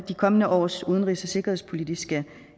de kommende års udenrigs og sikkerhedspolitiske